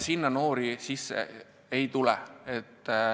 Noori sisse ei tule.